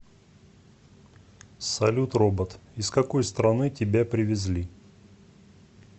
салют робот из какой страны тебя привезли